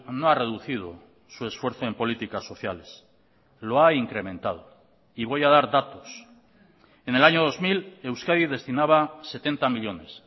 no ha reducido su esfuerzo en políticas sociales lo ha incrementado y voy a dar datos en el año dos mil euskadi destinaba setenta millónes